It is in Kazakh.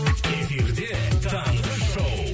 эфирде таңғы шоу